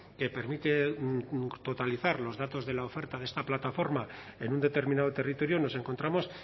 que permite totalizar los datos de la oferta de esta plataforma en un determinado territorio nos encontramos